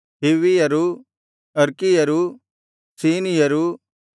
ಹಿವ್ವಿಯರೂ ಅರ್ಕಿಯರೂ ಸೀನಿಯರೂ